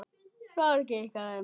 Sorg ykkar er mikil.